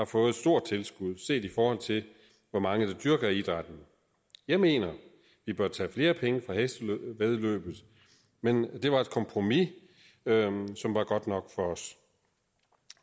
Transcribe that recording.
fået et stort tilskud set i forhold til hvor mange der dyrker idrætten jeg mener vi bør tage flere penge fra hestevæddeløbet men det var et kompromis som var godt nok for os